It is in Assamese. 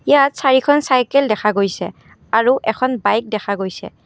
ইয়াত চাৰিখন চাইকেল দেখা গৈছে আৰু এখন বাইক দেখা গৈছে।